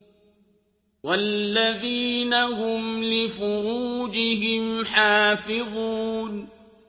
وَالَّذِينَ هُمْ لِفُرُوجِهِمْ حَافِظُونَ